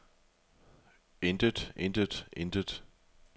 intet intet intet